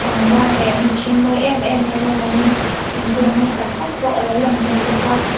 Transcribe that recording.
pangpar leh hnim hring mawi em em mai lo langin thingkung mawi tak tak pawh a lo lang tel bawk a.